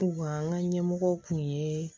U ka an ka ɲɛmɔgɔ kun ye